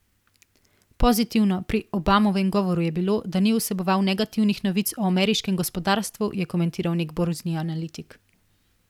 Pozitivno pri Obamovem govoru je bilo, da ni vseboval negativnih novic o ameriškem gospodarstvu, je komentiral nek borzni analitik.